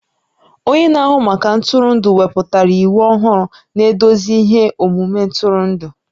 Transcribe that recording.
Onye na-ahụ maka ntụrụndụ ewepụtala iwu ọhụrụ na-eduzi ihe omume ntụrụndụ